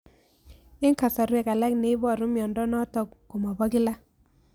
Eng' kasarwek alak neiparu miondo notok ko mapokila